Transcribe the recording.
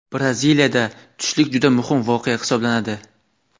Braziliyada tushlik juda muhim voqea hisoblanadi.